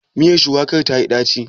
Miyar shuwakar tayi ɗaci?